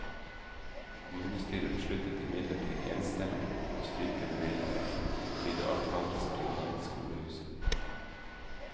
Kommunestyret besluttet imidlertid enstemmig å stryke bevilgningen, fordi det alt fantes springvann i skolehuset.